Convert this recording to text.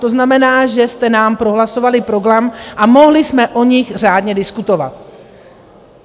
To znamená, že jste nám prohlasovali program a mohli jsme o nich řádně diskutovat.